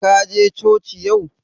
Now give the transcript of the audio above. Ka je coci yau?